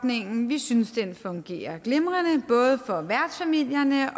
ordningen vi synes den fungerer glimrende både for værtsfamilierne og